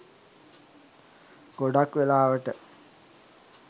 ගොඩාක් වෙලාවට